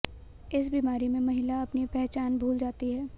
इस बीमारी में महिला अपनी पहचान भूल जाती है